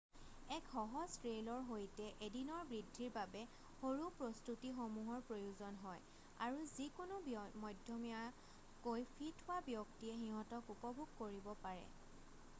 এক সহজ ট্ৰেইলৰ সৈতে এদিনৰ বৃদ্ধিৰ বাবে সৰু প্ৰস্তুতিসমূহৰ প্ৰয়োজন হয় আৰু যিকোনো মধ্যমীয়াকৈ ফিট হোৱা ব্যক্তিয়ে সিঁহতক উপভোগ কৰিব পাৰে৷